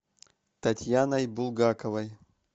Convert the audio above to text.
татьяной булгаковой